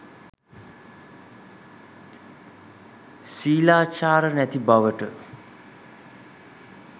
ශීලාචාර නැති බවට